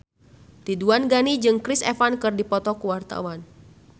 Ridwan Ghani jeung Chris Evans keur dipoto ku wartawan